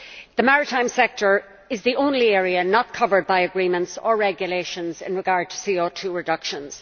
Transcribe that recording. The maritime sector is the only area not covered by agreements or regulations in regard to CO2 reductions.